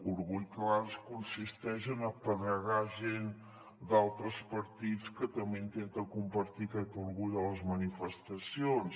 orgull que a vegades consisteix a apedregar gent d’altres partits que també intenta compartir aquest orgull a les manifestacions